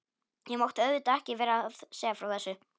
Ég mátti auðvitað ekki vera að segja frá þessu.